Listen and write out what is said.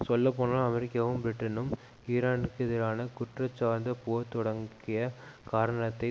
சொல்ல போனா அமெரிக்காவும் பிரிட்டனும் ஈரானுக்கெதிரான குற்றஞ்சார்ந்த போர் தொடக்கிய காரணத்தை